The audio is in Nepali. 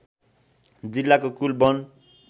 जिल्लाको कुल वन